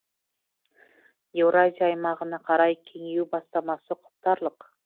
еуразия аймағына қарай кеңею бастамасы құптарлық